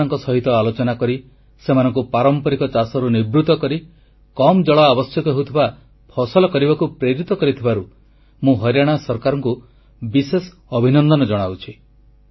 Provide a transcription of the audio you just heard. ଚାଷୀମାନଙ୍କ ସହିତ ଆଲୋଚନା କରି ସେମାନଙ୍କୁ ପାରମ୍ପରିକ ଚାଷରୁ ନିବୃତ୍ତ କରି କମ୍ ଜଳ ଆବଶ୍ୟକ ହେଉଥିବା ଫସଲ କରିବାକୁ ପ୍ରେରିତ କରିଥିବାରୁ ମୁଁ ହରିୟାଣା ସରକାରଙ୍କୁ ବିଶେଷ ଅଭିନନ୍ଦନ ଜଣାଉଛି